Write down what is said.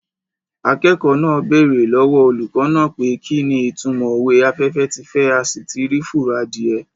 Akẹ́kọ̀ọ́ náà bèrè lọ́wọ́ olùkọ́ náà pé kí ni ìtúmọ̀ òwe "afẹ́fẹ́ ti fẹ́ a sì ti rí fùrọ̀ adìẹ"